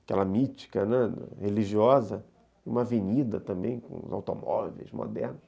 aquela mítica, né, religiosa, uma avenida também, com os automóveis modernos.